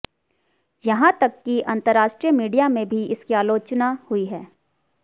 यहां तक की अंतर्राष्ट्रीय मीडिया में भी इसकी आलोतचना हुई थी